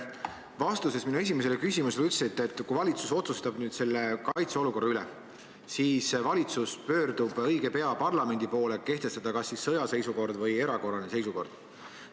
Vastuses minu esimesele küsimusele te ütlesite, et kui valitsus otsustab selle kaitseolukorra üle, siis valitsus pöördub õige pea parlamendi poole, et kehtestada kas sõjaseisukord või erakorraline seisukord.